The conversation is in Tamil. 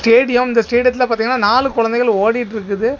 ஸ்டேடியம் இந்த ஸ்டேடியத்துல பாத்தீங்கன்னா நாலு குழந்தைகள் ஓடிட்ருக்குது.